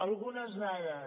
algunes dades